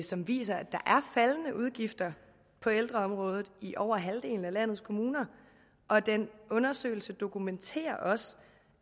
som viser at der er faldende udgifter på ældreområdet i over halvdelen af landets kommuner og den undersøgelse dokumenterer også